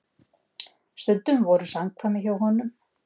Stundum voru samkvæmi hjá honum.